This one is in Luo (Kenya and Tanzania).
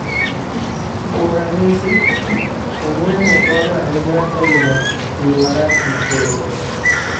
Kuom ranyisi, ong'weng'o konyo ahinya e geng'o tiyo marach gi kembe.